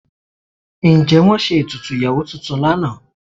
Ǹjẹ́ wọ́n ṣe ètùtù ìyàwó tuntun lánàá?